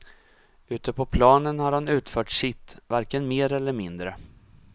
Ute på planen har han utfört sitt, varken mer eller mindre.